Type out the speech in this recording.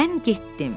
Mən getdim.